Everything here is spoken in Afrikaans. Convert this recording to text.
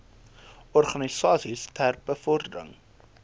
organisasies ter bevordering